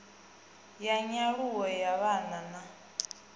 ya nyaluwo ya vhana na